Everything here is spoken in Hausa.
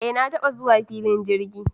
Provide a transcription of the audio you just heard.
Eh! Na taba zuwa filin jirgi.